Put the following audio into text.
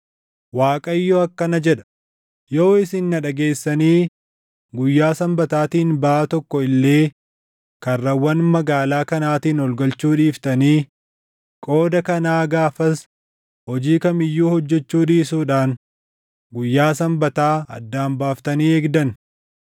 Waaqayyo akkana jedha; yoo isin na dhageessanii guyyaa Sanbataatiin baʼaa tokko illee karrawwan magaalaa kanaatiin ol galchuu dhiiftanii qooda kanaa gaafas hojii kam iyyuu hojjechuu dhiisuudhaan guyyaa Sanbataa addaan baaftanii eegdan,